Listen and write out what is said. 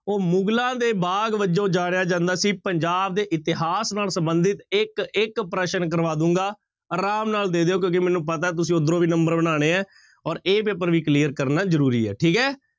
ਉਹ ਮੁਗ਼ਲਾਂ ਦੇ ਬਾਗ਼ ਵਜੋਂ ਜਾਣਿਆ ਜਾਂਦਾ ਸੀ? ਪੰਜਾਬ ਦੇ ਇਤਿਹਾਸ ਨਾਲ ਸੰਬੰਧਿਤ ਇੱਕ ਇੱਕ ਪ੍ਰਸ਼ਨ ਕਰਵਾ ਦਊਂਗਾ, ਆਰਾਮ ਨਾਲ ਦੇ ਦਿਓ ਕਿਉਂਕਿ ਮੈਨੂੰ ਪਤਾ ਹੈ ਤੁਸੀਂ ਉੱਧਰੋਂ ਵੀ number ਬਣਾਉਣੇ ਹੈ ਔਰ a ਪੇਪਰ ਵੀ clear ਕਰਨਾ ਜ਼ਰੂਰੀ ਹੈ, ਠੀਕ ਹੈ।